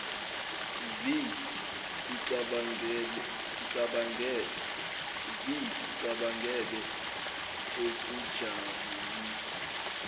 vi sicabangele okujabulisa